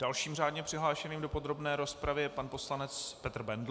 Dalším řádně přihlášeným do podrobné rozpravy je pan poslanec Petr Bendl.